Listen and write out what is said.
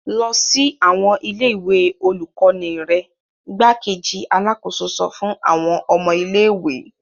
Lọ sí awọn ilé-ìwé olukọni rẹ! Igbákejì Alàkóso sọ fun awọn ọmọ ilé-ìwé